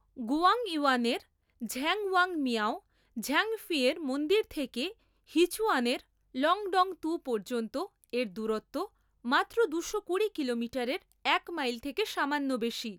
গুয়াংইউয়ানের ঝ্যাংওয়াং মিয়াও ঝাংফেইয়ের মন্দির থেকে হিচুয়ানের লংডংতু পর্যন্ত এর দূরত্ব মাত্র দুশো কুড়ি কিলোমিটারের এক মাইল থেকে সামান্য বেশি।